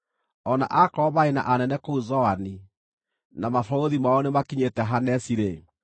O na akorwo marĩ na anene kũu Zoani, na mabarũthi mao nĩmakinyĩte Hanesi-rĩ,